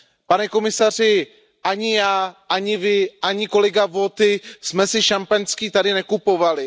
Pane komisaři, ani já, ani vy, ani kolega Viotti jsme si šampaňské tady nekupovali.